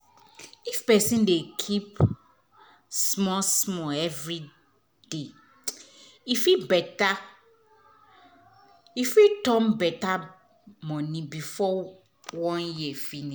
if person dey keep small small every day e fit better e fit turn money before one year